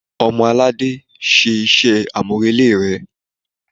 Ọmọ-alade, Ṣe iṣẹ amurele rẹ!